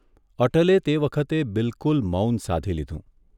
અટલે તે વખતે બિલકુલ મૌન સાધી લીધું.